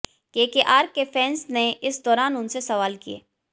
KKR के fans ने इस दौरान उनसे सवाल किए